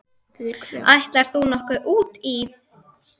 Ætlar þú nokkuð út í?